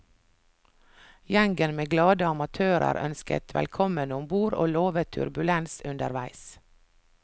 Gjengen med glade amatører ønsket velkommen om bord og lovet turbulens underveis.